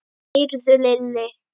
Heyrðu Lilli.